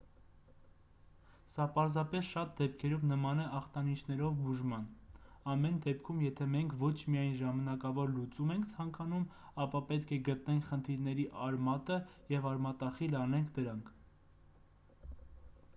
սա պարզապես շատ դեպքերում նման է ախտանշաններով բուժման ամեն դեպքում եթե մենք ոչ միայն ժամանակավոր լուծում ենք ցանկանում ապա պետք է գտնենք խնդիրների արմատը և արմատախիլ անենք դրանք